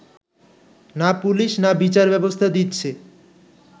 না পুলিশ, না বিচারব্যবস্থা দিচ্ছে